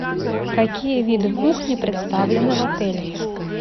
какие виды кухни представлены в отеле